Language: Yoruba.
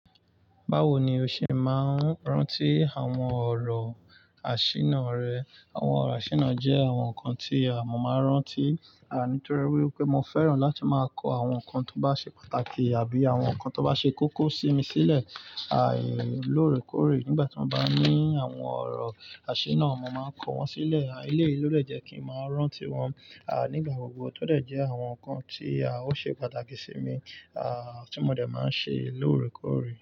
Báwo ni o ṣe máa ń rántí àwọn ọ̀rọ̀ àṣínà rẹ? Àwọn ọ̀rọ̀ àṣínà jẹ́ àwọn nǹkan tí à mọ́ máa rántí, àní torí pé mo fẹ́ràn láti máa kọ àwọn nǹkan tó bá ṣe pàtàkì àbí àwọn nǹkan tó bá ṣe kókó sí mi sílẹ̀, àì lórèkórè nígbà tí wọ́n bá ní àwọn ọ̀rọ̀ àṣírí náà mo máa kọ wọ́n sílẹ̀. Àí, eléyìí ìló dẹ̀ jẹ́ kí ń máa rántí wọn, àní nígbà gbogbo tó dẹ̀ jẹ́ àwọn nǹkan tí a ó ṣe pàtàkì sí mi, à tí mo dẹ̀ máa ń ṣe lóore kóòré.